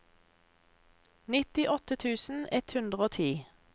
nittiåtte tusen ett hundre og ti